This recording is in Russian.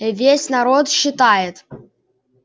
весь народ считает